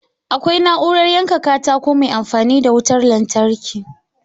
Akwai na'urar yanka katako mai amfani da wutar lantarki